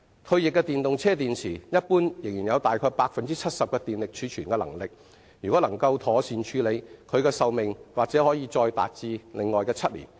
退役的電動車電池一般仍有大概 70% 的電力儲存能力，如果能夠妥善處理，其可用壽命或可達7年。